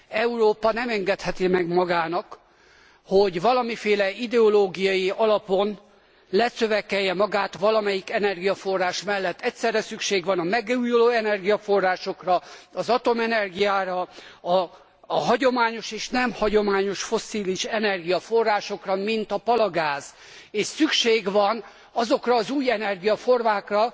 Európa nem engedheti meg magának, hogy valamiféle ideológiai alapon lecövekelje magát valamelyik energiaforrás mellett. Egyszerre szükség van a megújuló energiaforrásokra, az atomenergiára, a hagyományos és a nem hagyományos fosszilis energiaforrásokra, mint a palagáz, és szükség van azokra az új energiaformákra,